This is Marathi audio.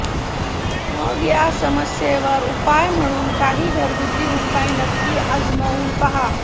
मग या समस्येवर उपाय म्हणून काही घरगुती उपाय नक्की आजमावून पहा